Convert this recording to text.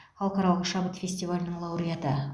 халықаралық шабыт фестивалінің лауреаты